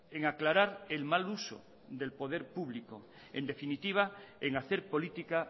en aclarar el mal uso del poder público en definitiva en hacer política